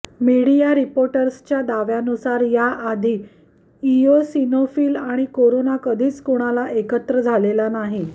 media रिपोर्ट्सच्या दाव्यानुसार याआधी इओसिनोफिल आणि कोरोना कधीच कुणाला एकत्र झालेला नाही